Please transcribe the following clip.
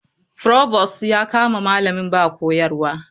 Provost ya kama malamin ba koyarwa.